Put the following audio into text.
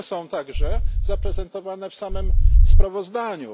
One są także zaprezentowane w samym sprawozdaniu.